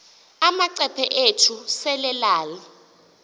amacephe ethu selelal